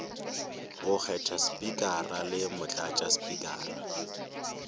go kgetha spikara le motlatšaspikara